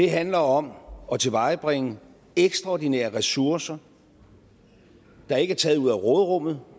handler om at tilvejebringe ekstraordinære ressourcer der ikke er taget af råderummet